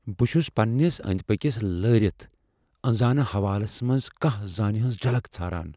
بہٕ چُھس پننِس أندۍ پٔكِس لٲرِتھ ، انزٲنہٕ حولس منز كانہہ زٲنہِ ہنز جلك ژھاران۔